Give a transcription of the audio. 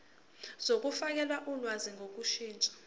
zokufakela ulwazi ngokushintsha